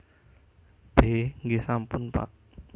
B Nggih sampun Pak